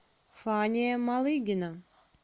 фания малыгина